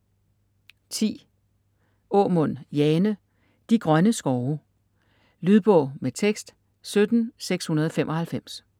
Aamund, Jane: De grønne skove Lydbog med tekst 17695